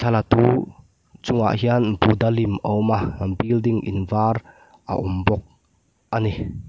chungah hian buddha lim a awm a building in var a awm bawk a ni.